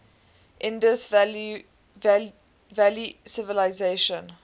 indus valley civilisation